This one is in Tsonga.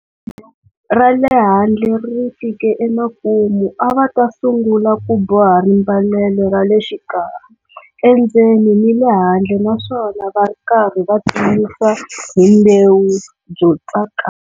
Ra le handle ri fike emakumu a va ta sungula ku boha rimbalelo ra le xikarhi, endzeni ni le handle na swona va ri karhi va tiyisa hi mbewu byo tsakama.